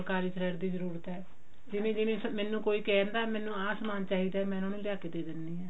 thread ਦੀ ਜਰੂਰਤ ਹੈ ਜਿਵੇਂ ਜਿਵੇਂ ਮੈਨੂੰ ਕੋਈ ਕਹਿੰਦਾ ਮੈਨੂੰ ਆਹ ਸਮਾਨ ਚਾਹੀਦਾ ਮੈਂ ਉਹਨਾ ਨੂੰ ਲੇਆ ਕੀ ਦੇ ਦਿੰਨੀ ਹਾਂ